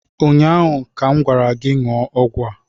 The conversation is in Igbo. Ụnyaahụ ka m gwara gị, ṅụọ ọgwụ a!